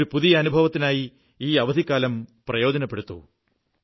ഒരു പുതിയ അനുഭവത്തിനായി ഈ അവധിക്കാലം പ്രയോജനപ്പെടുത്തൂ